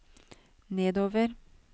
nedover